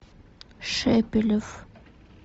шепелев